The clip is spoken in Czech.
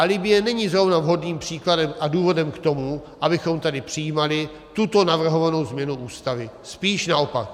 A Libye není zrovna vhodným příkladem a důvodem k tomu, abychom tady přijímali tuto navrhovanou změnu Ústavy, spíš naopak.